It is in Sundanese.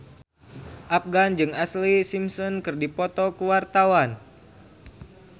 Afgan jeung Ashlee Simpson keur dipoto ku wartawan